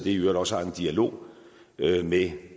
i øvrigt også har en dialog med